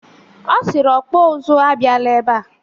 O siri ọkpọ ụzụ abiala ebe a.